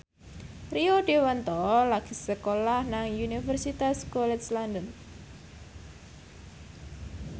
Rio Dewanto lagi sekolah nang Universitas College London